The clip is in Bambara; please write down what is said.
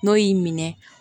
N'o y'i minɛ